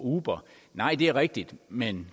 uber nej det er rigtigt men